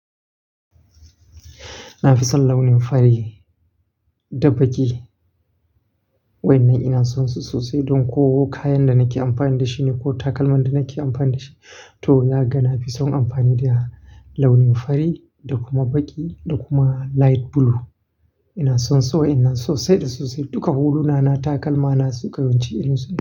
Na fi son launin fari da baƙi. Wannan ina son su sosai don ko kayan da nake amfani da shi ne ko takalman da nake amfani da shi to, naga na fi son amfani da launin fari da kuma baƙi da kuma light blue. Ina son su wannan sosai da sosai. Duka huluna na takalma na su kayimci iliminsu da.